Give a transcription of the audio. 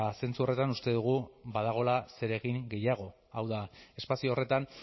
zentzu horretan uste dugu badagoela zeregin gehiago hau da espazio horretan